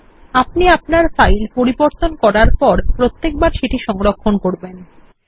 মনে রাখুন আপনি আপনার ফাইল পরিবর্তন করার পরে প্রত্যেকবার সেটি সংরক্ষণ করবেন